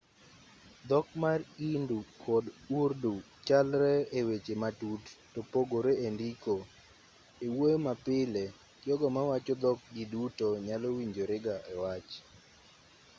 dhok mar hindi kod urdu chalre eweche matut topogore endiko ewuoyo mapile jogo mawacho dhok gi duto nyalo winjorega ewach